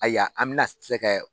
Aya an bɛna se kɛɛ